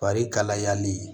Fari kalayali